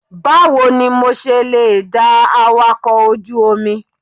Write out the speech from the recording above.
Báwo ni mo ṣe lè da awakọ̀ ojú omi?